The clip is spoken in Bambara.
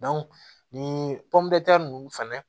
nin nunnu fɛnɛ